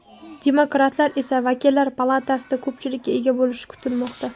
Demokratlar esa vakillar palatasida ko‘pchilikka ega bo‘lishi kutilmoqda.